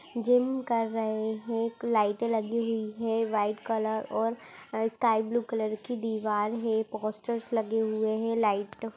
Gym कर रहे हैं एक लाइटे लगी हुयी हैं व्हाइट कलर और स्काई ब्लू कलर की दिवार है। पोस्टर्स लगे हुए हैं लाइट --